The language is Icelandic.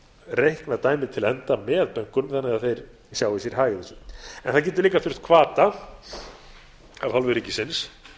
reiknað dæmið til enda með bönkunum þannig að þeir sjái sér hag í því en það getur líka orðið til hvata af hálfu ríkisins